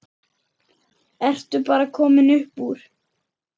Ertu bara komin upp úr?